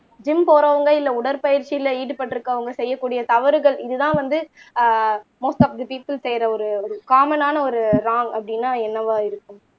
gym போறவங்க இல்ல உடற்பயிற்சியில ஈடுபட்டிருக்கவங்க செய்யக்கூடிய தவறுகள் இதுதான் வந்து uh most of the people செய்யற ஒரு காமன்னான ஒரு வ்ராங் அப்படின்னா என்னவா இருக்கும்